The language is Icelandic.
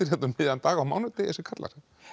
um miðjan dag á mánudegi þessir kallar